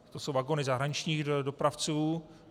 To jsou vagony zahraničních dopravců.